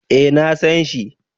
Eh na san shi